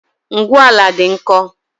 Ngwu ala dị nkọ